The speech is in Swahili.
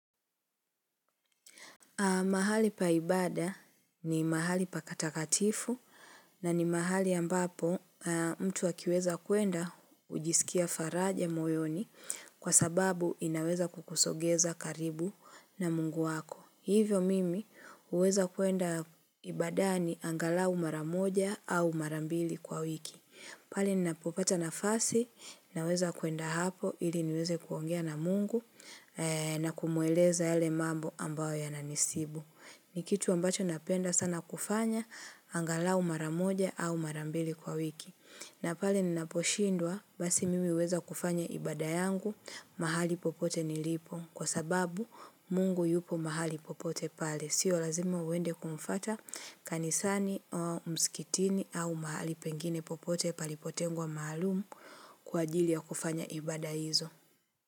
Mahali pa ibada ni mahali patakatifu na ni mahali ambapo mtu akiweza kuenda hujisikia faraja moyoni kwa sababu inaweza kukusongeza karibu na mungu wako. Hivyo mimi huweza kuenda ibadani angalau mara moja au mara mbili kwa wiki. Pale ninapopata nafasi naweza kuenda hapo ili niweze kuongea na mungu na kumueleza yale mambo ambayo yananisibu. Ni kitu ambacho napenda sana kufanya angalau mara moja au mara mbili kwa wiki. Na pale ninaposhindwa basi mimi huweza kufanya ibada yangu mahali popote nilipo. Kwa sababu mungu yupo mahali popote pale. Sio lazima uende kumfuata kanisani au mskitini au mahali pengine popote palipotengwa maalumu kwa ajili ya kufanya ibada hizo.